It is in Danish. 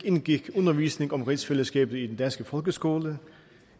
indgik undervisning om rigsfællesskabet i den danske folkeskole